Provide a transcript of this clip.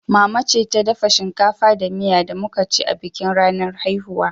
Mama ce ta dafa shinkafa da miya da muka ci a bikin ranar haihuwa.